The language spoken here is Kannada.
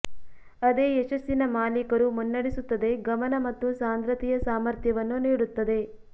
ಅದೇ ಯಶಸ್ಸಿನ ಮಾಲೀಕರು ಮುನ್ನಡೆಸುತ್ತದೆ ಗಮನ ಮತ್ತು ಸಾಂದ್ರತೆಯ ಸಾಮರ್ಥ್ಯವನ್ನು ನೀಡುತ್ತದೆ